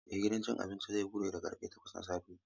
Eh gidan cin abinci zai bude da karfe takwas na safe.